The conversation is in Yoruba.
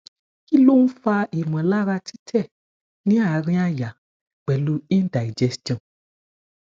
ki lo n fa imolara tite ni arin aya pelu indigestion